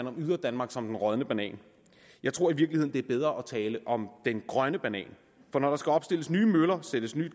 om yderdanmark som den rådne banan jeg tror i virkeligheden det er bedre at tale om den grønne banan for når der skal opstilles nye møller sættes